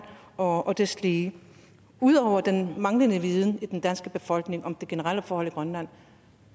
og deslige udover den manglende viden i den danske befolkning om de generelle forhold i grønland